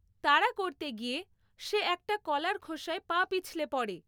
তাড়া করতে গিয়ে সে একটা কলার খোসায় পা পিছলে পড়ে।